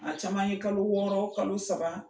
A caman ye kalo wɔɔrɔ kalo saba